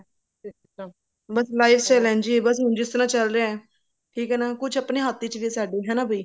ਬਸ life style ਇੰਝ ਹੀ ਬਸ ਜਿਸ ਤਰ੍ਹਾਂ ਚਲ ਰਿਹਾ ਠੀਕ ਹੈ ਨਾ ਕੁੱਛ ਆਪਨੇ ਹੱਥ ਵਿੱਚ ਵੀ ਸਾਡੇ ਹਨਾ ਵੀ